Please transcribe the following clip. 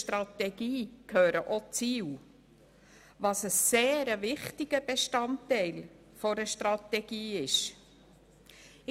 Ein sehr wichtiger Bestandteil einer Strategie sind die Ziele.